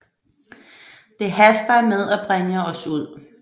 Det haster med at bringe os ud